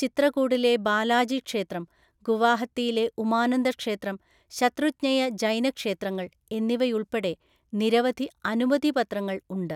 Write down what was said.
ചിത്രകൂടിലെ ബാലാജി ക്ഷേത്രം, ഗുവാഹത്തിയിലെ ഉമാനന്ദ ക്ഷേത്രം, ശത്രുഞ്ജയ ജൈന ക്ഷേത്രങ്ങൾ എന്നിവയുൾപ്പെടെ നിരവധി അനുമതിപത്രങ്ങൾ ഉണ്ട്.